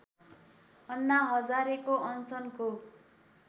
अन्ना हजारेको अनसनको